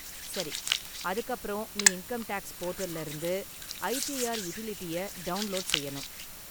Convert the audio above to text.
சரி, அதுக்கு அப்பறம் நீ இன்கம் டேக்ஸ் போர்டல்ல இருந்து ஐடிஆர் யுடிலிட்டிய டவுன்லோடு செய்யணும்.